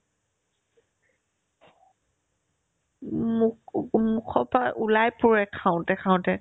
মোক ওকো মুখৰ পাই ওলাই পৰে খাওতে খাওতে